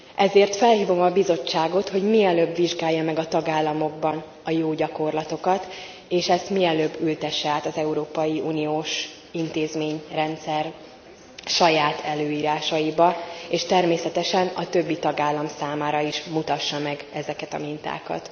Ezért felhívom a Bizottságot, hogy mielőbb vizsgálja meg a tagállamokban a jó gyakorlatokat, és ezt mielőbb ültesse át az európai uniós intézményrendszer saját előírásaiba, és természetesen a többi tagállam számára is mutassa meg ezeket a mintákat.